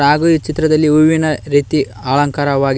ಹಾಗೂ ಈ ಚಿತ್ರದಲ್ಲಿ ಹೂವಿನ ರೀತಿ ಅಲಂಕಾರವಾಗಿದೆ.